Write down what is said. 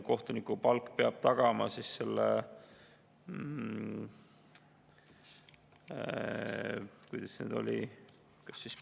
Kohtuniku palk peab tagama – kuidas see nüüd oli?